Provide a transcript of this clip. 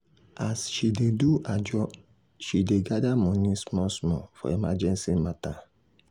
as she dey do ajo she dey gather money small small for emergency matter.